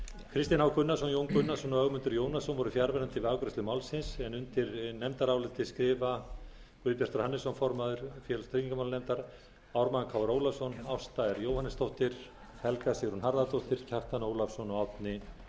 kristinn h gunnarsson jón gunnarsson og ögmundur jónasson voru fjarverandi við afgreiðslu málsins undir nefndarálitið skrifa guðbjartur hannesson formaður félags og tryggingamálanefndar ármann krónu ólafsson ásta r jóhannesdóttir helga sigrún harðardóttir kjartan ólafsson og árni